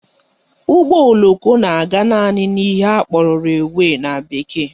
Ụgbọoloko na-aga naanị n'ihe akpọrọ railway na bekee